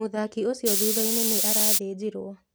Mũthaki ũcio thutha-inĩ nĩ arathĩnjirwo.